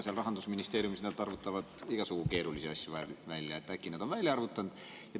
Aga Rahandusministeeriumis nad arvutavad igasugu keerulisi asju välja, äkki nad on selle ka välja arvutanud.